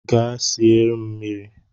Gaa sie m mmiri!